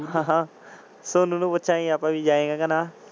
ਹਾਂ ਹਾਂ ਸੋਨੂ ਪੁੱਛਣਗੇ ਵੀ ਆਪਾਂ ਕੇ ਜਾਏਂਗਾ ਕੇ ਨਾ।